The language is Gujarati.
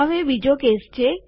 હવે બીજો કેસ છે